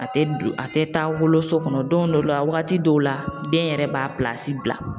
A tɛ taa woloso kɔnɔ don dɔw la wagati dɔw la den yɛrɛ b'a bila.